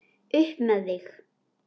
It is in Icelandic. Upp með þig!